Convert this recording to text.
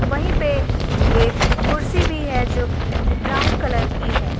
वहीं पे एक कुर्सी भी है जो कि ब्राउन कलर की है।